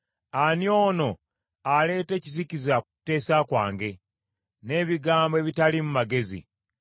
“Ani ono aleeta ekizikiza ku kuteesa kwange, n’ebigambo ebitaliimu magezi?